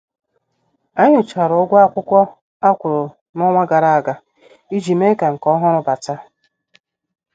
Anyị nyochara ụgwọ akwụkwọ akwuru n' ọnwa gara aga iji mee ka nke ọhụrụ bata.